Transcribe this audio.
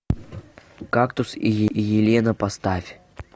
кактус и елена поставь